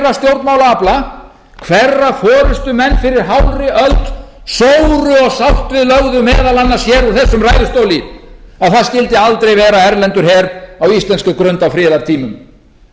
hálfri öld sóru og sárt við lögðu meðal annars hér úr þessum ræðustóli að það skyldi aldrei vera erlendur her á íslenskri grund á friðartímum